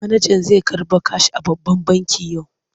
Manajan zai karɓo kash a babban banki yau.